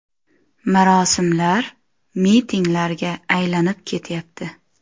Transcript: Marosimlar mitinglarga aylanib ketyapti.